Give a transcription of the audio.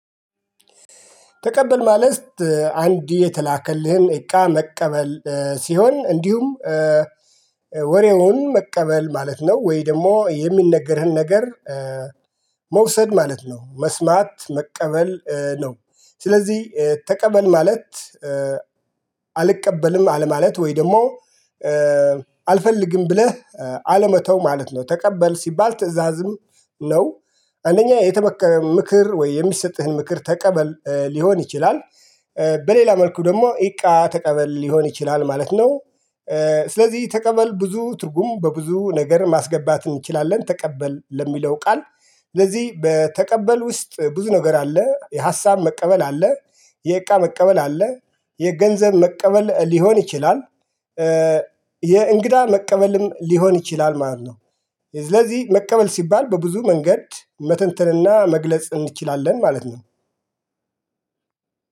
ተቀበል ማለት አንድ የተላከልህን እቃ መቀበል ሲሆን እንዲሁም ወሬውን መቀበል ማለት ነው? ወይ ደግሞ የሚነገርህን ነገር መውሰድ ማለት ነው መስማት መቀበል ነው። ስለዚህ ተቀበል ማለት አልቀበልም አለማለት ወይ ደግሞ አልፈልግም ብለህ አለመተው ማለት ነው። ተቀበል ሲባል ትእዛዝም ነው። አንደኛ የተበከረ ምክር ወይ የሚሰጥህን ምክር ተቀበል ሊሆን ይችላል። በሌላ መልኩ ደግሞ እቃ ተቀበል ሊሆን ይችላል ማለት ነው። ስለዚህ ተቀበል ብዙ ትርጉም በብዙ ነገር ማስገባት እንችላለን ተቀበል ለሚለው ቃል ስለዚህ በተቀበል ውስጥ ብዙ ነገር አለ የሀሳብ መቀበል አለ። የእቃ መቀበል አለ የገንዘብ መቀበል ሊሆን ይችላል። የእንግዳ መቀበልም ሊሆን ይችላል ማለት ነው። ስለዚህ መቀበል ሲባል በብዙ መንገድ መተንተንና መግለጽ እንችላለን ማለት ነው።